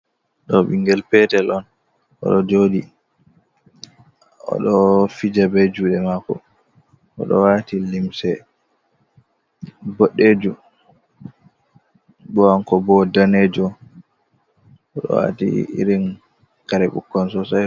Ɗo ɓingel petel on o ɗo joɗi o ɗo fija be juɗe mako, o ɗo wati limse boɗejum, bo kanko wo danejo, o ɗo wati irin kare ɓukkon Sosai.